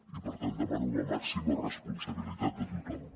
i per tant demano la màxima responsabilitat de tothom